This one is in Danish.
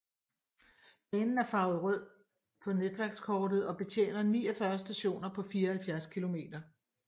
Banen er farvet rød på netværkskortet og betjener 49 stationer på 74 km